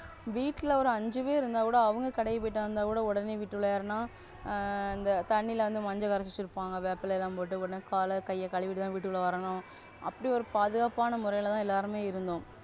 வீட்ல ஒரு அஞ்சி பேரு இருந்தா கூட அவங்க கடைக்கு போயிட்டு வந்தா கூட உடனே வீட்டுல யாருனா அந்த தண்ணில வந்து மஞ்சள்ள வராஹி வச்சி இருப்பாங்க. வேப்பஇலை எல்லாம் போட்டு உடனே கால கைய கழுவிட்டு வரணும். அப்படி ஒரு பாதுகாப்பான முறையில்தான் எல்லாருமே இருந்தோம்.